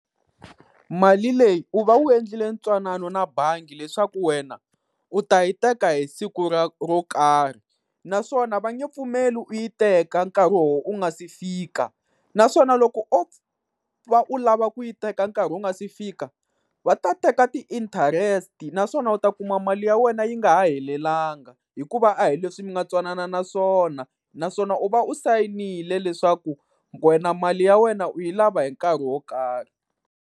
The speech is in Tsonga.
Mali leyi u va u endlile ntwanano na bangi leswaku wena u ta yi teka hi siku ra ro karhi, naswona va nge pfumeli u yi teka nkarhi wo u nga se fika. Naswona loko o va u lava ku yi teka nkarhi wu nga si fika va ta teka ti-interest-i, naswona u ta kuma mali ya wena yi nga ha helelangi hikuva a hi leswi mi nga twanana swona. Naswona u va u sayinile leswaku wena mali ya wena u yi lava hi nkarhi wo karhi.